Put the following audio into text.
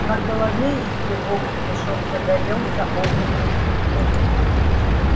на голове его гребешок загорелся огненным цветком